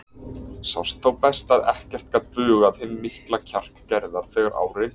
Sást þá best að ekkert gat bugað hinn mikla kjark Gerðar þegar á reyndi.